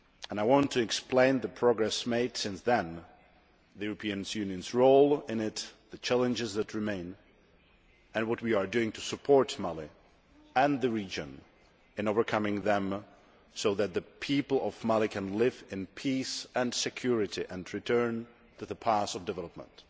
I want to explain the progress made since then, the European Union's role in it, the challenges that remain, and what we are doing to support Mali and the region in overcoming them, so that the people of Mali can live in peace and security and return to the path of development.